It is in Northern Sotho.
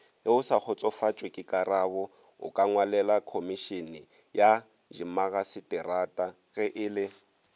geosakgotsofatšwekekarabo okangwalelakhomišeneyadimmagaseterata ge e le